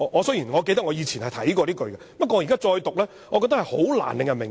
雖然我記得我以前曾看過這句，但現在再讀我覺得是難以令人明白。